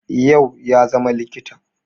yau ya zama likita